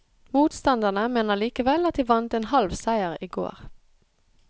Motstanderne mener likevel at de vant en halv seier i går.